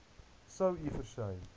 sou u versuim